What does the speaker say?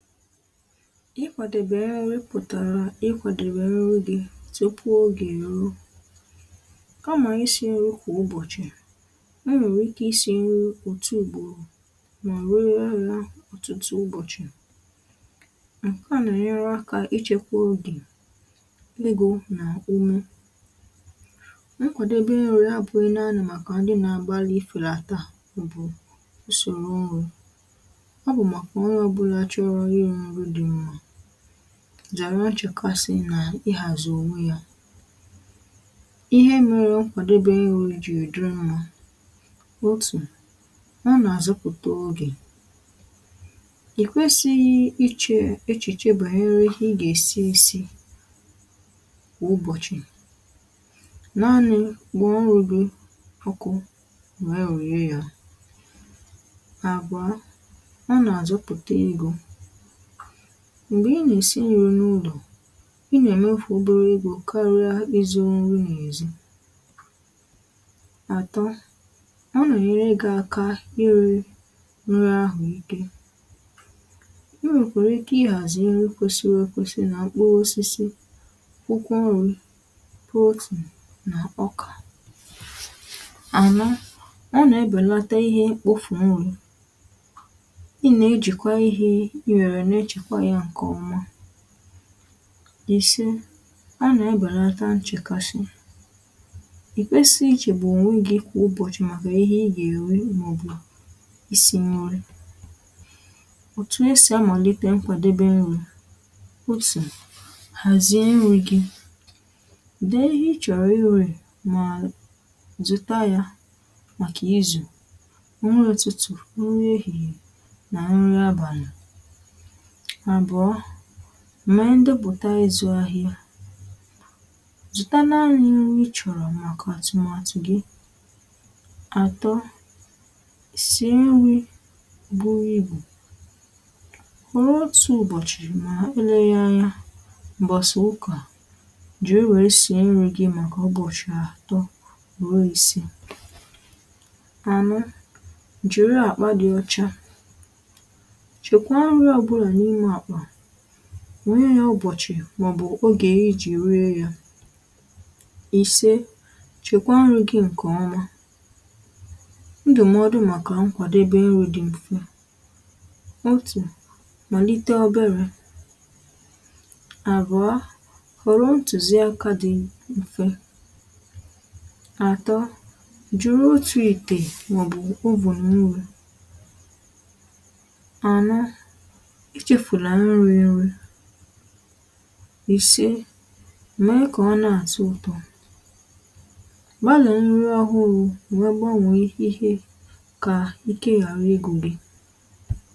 Ịkwàdèbè ya pụ̀tàrà ịkwàdèbè ọrụ gị tupu ọge eruo kamà isi̇ nri̇ kwà ụbọ̀chị̀ m nwèrè ike isi̇ nri òtù ùgbòrò mà wee raa nra ọtụtụ ụbọ̀chị̀ nkẹ mere nra akȧ ịchekwa ogè legȯ nà umẹ nkwàdebe nri abụ̇ ị naanị̇ màkà ndị nà-agbalị ifėlàtà bụ̀ usòrò ọrụ zàra ọchụkasị nà ịhàzụ̀ òwe ya ihe mere ǹkwàdebe ị nụ̇ iji dị nma otù hà nà-àzọpụ̀ta ogè ì kwesi̇ ihe ichè echìchè bàa ha nwere ike ị gà-èsi isi kwa ụbọ̀chị̀ naanị̇ gbụ̀ nrù gị ọkụ nwère rùye ya m̀gbè ị nà-èsi nyụ̇ n’ụlọ̀ ị nà-ème ụfụ̀ ụbụrụ igȯ karịa ịzụ̇ nrị n’èzi àtọ ọ nà-enyere gị̇ aka ịrị̇ nri ahụ̀ ike ị nwèkwèrè ike ịhàzì nyere ikwėsi̇ nwekwàsị nà mkpụrụ osisi pụkwa ọrụ̇ protein nà ọkà ànà ọ nà-ebèlata ihe kpufù nrì ihe e chekwa ya ǹkè ọma i si a nà-ebèlata nchekashị ị kwesịghị ịchè echiche banyere ihe ị ga-esi esi kwa ụbọchị naanị? rie ya ònwe gị kwà ụbọchị màkà ihe ị gà-èri n’ọ̀bụ̀a isi̇ nye nri òtù esì amàlite mkwadebe nri̇ otù hàzie nri̇ gi dee ihe ị chọ̀rọ̀ iru̇ mà zùta ya màkà izù nri ọtụtụ̀ nri ehìhìè nà nri abàlà màọ̀bụ̀ọ mẹ̀ẹ ndepụ̀ta ịzụ̇ ahịa zụta naanị ịchọ̀rọ̀ màkà tùmàtù gị àtọ sì ẹnwị̇ bụrụ ibù hụrụ otu̇ ụ̀bọ̀chị̀ mà ulele anya m̀gbọ̀sàụkà jìri wèe si ẹnwị̇ gị màkà ụbọ̀chị̀ àtọ rụọ isi̇ ànụ jìri àkpa dị ọcha nwonyė ya ọbọchị màọbụ̀ ogè ijì ree ya ise chekwa nrị̇ gị ǹkèọma ndụ̀mọdụ màkà nkwàdebe nrị̇ dị m̀fe otù malite obere àrụa họ̀rọ ntùzi aka dị m̀fe atọ jụrụ otù itè màọbụ̀ ovenuru ìse mà ị kà ọ na-àzụ ụtọ̇ gbalà nri ọhụrụ̇ nwee gbanwèe ihe kà ikė ghàra ịgụ̇ gị